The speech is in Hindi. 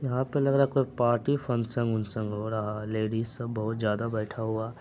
यहां पर लग रहा है कोई पार्टी फंक्शन वक्शन हो रहा है। लेडीज सब बहुत ज्यादा बैठा हुआ--